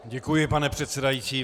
Děkuji, pane předsedající.